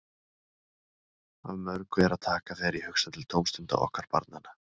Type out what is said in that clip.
Af mörgu er að taka þegar ég hugsa til tómstunda okkar barnanna.